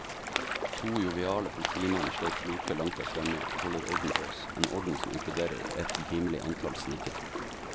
To joviale politimenn slår floke langt der fremme og holder orden på oss, en orden som inkluderer et rimelig antall snikere.